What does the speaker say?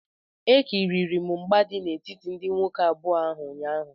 Ekiriri m mgba dị n'etiti ndị nwoke abụọ ahụ ụnyaahụ